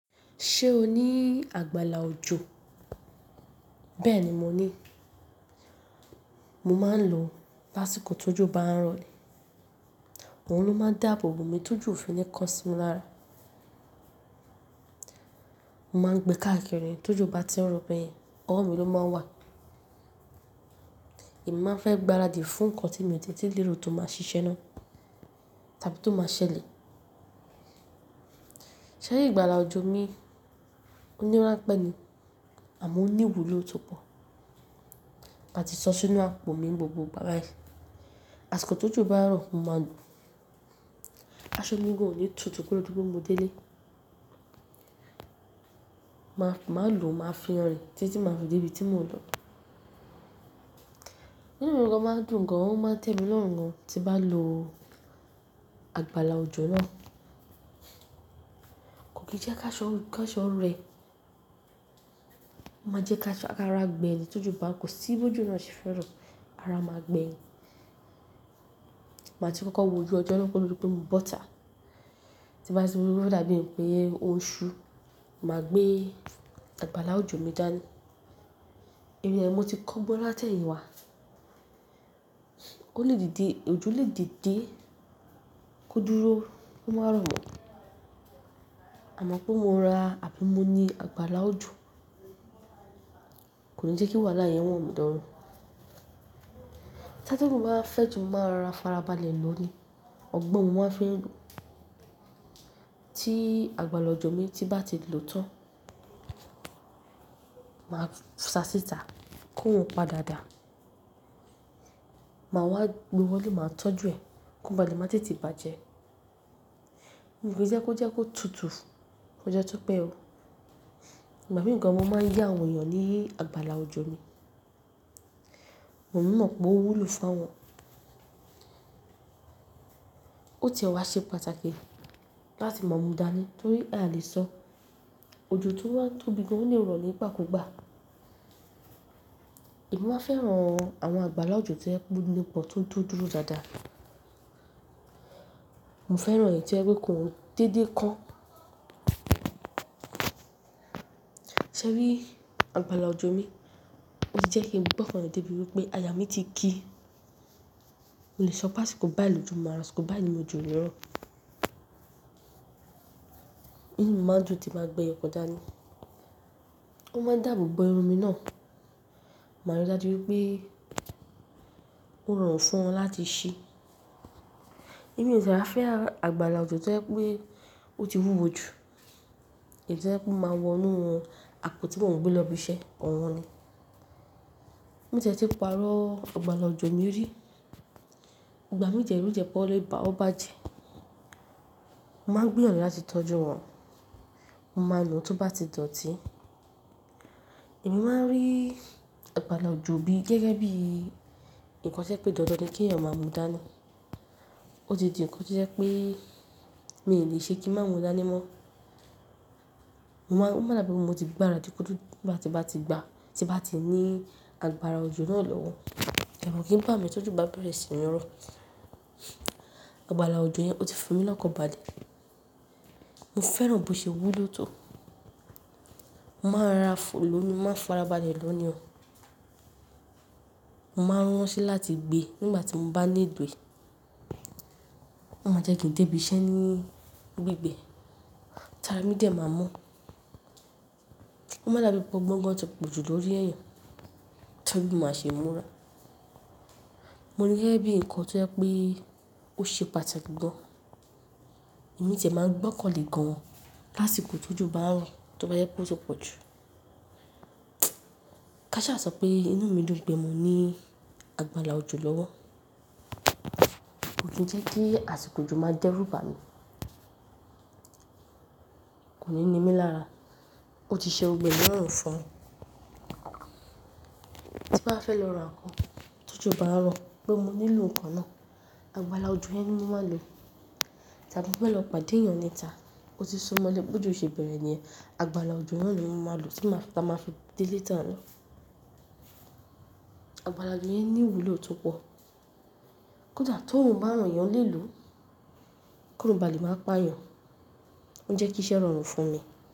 Ṣé o ní àgbàlá òjò? Bẹ́ẹ̀ni mo ní. Mo máa ń lò àsìkò tó jù bá ń rọrùn. Òun ló máa ń dáàbò bo mi tó jù òfin ní kọ sí mi lára. Mo máa ń gbé káàkiri tó jù bá tí ń rọ̀ bẹ́ẹ̀yẹn ọwọ́ mi ló máa ń wà. Èmi máa fẹ́ gbáradì fún nǹkan tí mo tètè lè ro tó máa ṣiṣẹ́ náà tàbí tó máa ṣẹlẹ̀. Ṣẹ́rí ìgbàlà òjò mi, ó ní wárápẹ́ ni àmọ́ ó ní ìwúlò tó pọ̀. Màá ti sọ sínú àpò mi gbogbo bá báyìí. Àsìkò tó jù bá ń rọ̀, mo máa lò aṣọ mi gan-an ní tutù kí ó dúró pé mo dé lé. Ma, máa lò máa fi hàn ni títí máa fi dé ibi tí mò ń lọ. Nínú ǹkan máa dùn gan-an, ó máa ń tẹ mi lọ́hun gan-an tí bá lò àgbàlá òjò náà. Kò kì í jẹ́ ká aṣọ, ká aṣọ rẹ̀. Ma jẹ́ ká aṣọ, ká ra gbẹ́yìn tó jù bá ń kò sí bó ju náà ṣe fẹ́ràn ara máa gbẹ́yìn. Màá ti kọ́kọ́ wójú ọjọ́ lọ́wọ́ lórí pé mo bọ́ta. Tí bá ti ro dáadáa ni pé oṣù, màá gbé àgbàlá òjò mi dání. Ìrírí ẹni mo ti kọ́ gbọ́ láti ẹ̀yìn wá. Ó lè dìde, òjò lè dìde kó dúró kó má rọ̀ mọ́. Àmọ́ pé mo ra àbí mo ní àgbàlá òjò kò ní jẹ́ kí wàhálà yẹn wọ̀ mí darú. Tátọ̀ni wá fẹ́ ju máa ra farabalẹ̀ lọ ní ọgbọ́n wọ́n fi ń lò. Tí àgbàlá òjò mi bá ti lò tán, màá sa síta kó wọ́n padà dà. Màá wá luwọ́ ni màá tọ́jú ẹ kó ba lè má tètè bàjẹ́. Kò kì í jẹ́ kó jẹ́ kó tutù, kó jẹ́ tó pẹ́ o. Ìgbà mìíràn ni mo máa ń yá àwọn èèyàn ní àgbàlá òjò mi. Mo mọ̀ pé ó wúlò fún wọn. Ó tẹ o wá ṣe pàtàkì láti mọ̀ mú dání torí à lè sọ òjò tó wá ń tóbi gan-an ó ní ìrọ̀rùn nígbà kúgbà. Èmi má fẹ́ran àwọn àgbàlá òjò tí ẹ pé púpọ̀ tó ń dúró dáadáa. Mo fẹ́ran ẹ̀yẹ tí ẹ wípé kò ń dédé kan. Ṣẹ́rí àgbàlá òjò mi, ó ti jẹ́ kí n mọ̀ pé ọkàn mi tẹ bíi pé aya mi ti ki. Mo lè sọ pàṣẹ kó bá ìlù jù, màá sọ kó bá ìlù jù ní ìrọ̀rùn. Nínú mi máa ń dùn tí màá gbe ọkọ dá ni. Ó máa ń dàbò bo irun mi náà. Màá rántí bíi pé ó rọrùn fún wọn láti ṣe. Èmi ò ṣe bá fẹ́ àgbàlá òjò tí ẹ pé ó ti wúwo jù. Èyí tí ẹ pé máa wọnú wọn, àpò tí wọ́n gbẹ́ lọ bí iṣẹ́, ọ̀wọ́n ni. Mo tẹ̀ ẹ́ ti parọ́ àgbàlá òjò mi rí. Ìgbà mí jẹ ẹrú jẹ pé ó lè bà ó bàjẹ́. Mo máa ń gbúyàn láti tọ́jú wọn. Mo máa lò ó tí ó bá ti dọ̀tí. Èmi máa ń rí àgbàlá òjò bí i gẹ́gẹ́ bí i ǹkan tí ẹ pé dandan ni kí ẹ̀yàn máa mú dání. Ó ti di ǹkan tí ẹ pé mi ò lè ṣe kí má mú dání mọ́. Mo máa mọ̀ lábẹ́ o mo ti gbáradì kódù tí bá ti gba, tí bá ti ní àgbàrá òjò náà lọ́wọ́. Ẹ̀wọ̀n kì í gbà mí tó jù bá bẹ̀rẹ̀ sí ní rọ. Àgbàlá òjò yẹn ó ti fi mí lọ́kọ̀ bàjẹ́. Mo fẹ́ràn bó ṣe wúlò tó. Mo máa ra fò lómi, máa farabalẹ̀ lọ ní ọ. Mo máa ń ránṣẹ́ láti gbé nígbà tí mo bá ní ìgbé. Mo máa jẹ́ kí n tẹ́bi iṣẹ́ ní gbígbẹ. Tàbí mi dè máa mọ̀. Mo máa dàbí gbọ́ngàn tó pọ̀jù lórí ẹ̀yẹ. Tẹ́ríbí máa ṣe múra. Mo níyẹ́ bí i ǹkan tí ẹ pé ó ṣe pàtàkì gbọ́n. Èmi tẹ̀ẹ́ máa ń gbọ́n kọ́ le gan-an láṣìkò tó jù bá ń rọ̀ tí ó bá yẹ kó pọ̀jù pọ̀jù. Ká ṣà sọ pé inú mi ló gbe mo ní àgbàlá òjò lọ́wọ́. Ó dùn tí kí àsìkò òjò máa jẹ́ rú bà mí. Kò ní ní mí lára. Ó ti ṣe ọgbẹ́ ní ọ̀rọ̀ fún wọn. Tí bá fẹ́ lọ ra ǹkan tó jù bá ń rọ̀ pé mo nílò ǹkan náà, àgbàlá òjò yẹn ni mo máa lò. Ìgbà mo bá lọ pàdé èèyàn níta, ó ti súmọ́lẹ̀ bó ju ṣe bẹ̀rẹ̀ ní ẹ̀yẹn, àgbàlá òjò náà ni mo máa lò tí màá fi dé ilé ìta náà. Àgbàlá òjò yẹn ní ìwúlò tó pọ̀. Kódà tó ń bá ràn yàn lé lò, kó ba lè máa pa èèyàn. Ó ń jẹ́ kí iṣẹ́ rọrùn fún mi.